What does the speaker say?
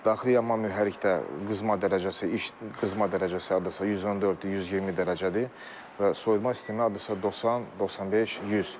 Daxili yanma mühərrikdə qızma dərəcəsi, iş qızma dərəcəsi hardasa 114, 120 dərəcədir və soyuma sistemi hardasa 90, 95, 100.